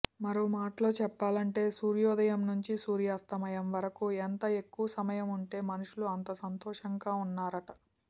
మరో మాటలో చెప్పాలంటే సూర్యోదయం నుంచి సూర్యాస్తమయం వరకూ ఎంత ఎక్కువ సమయం ఉంటే మనుషులు అంత సంతోషంగా ఉన్నారట